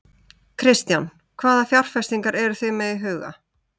Kristján: Hvaða fjárfestingar eruð þið með í huga?